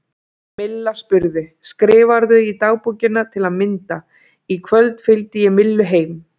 Milla spurði: Skrifarðu í dagbókina til að mynda: Í kvöld fylgdi ég Millu heim?